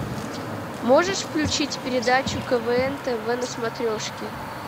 можешь включить передачу квн тв на смотрешке